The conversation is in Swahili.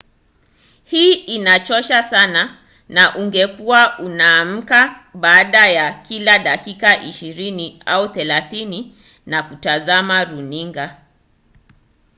hii inachosha sawa na ungekuwa unaamka baada ya kila dakika ishirini au thelathini na kutazama runinga